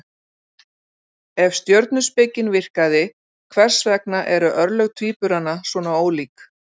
Ef stjörnuspekin virkaði, hvers vegna eru örlög tvíburana svona ólík?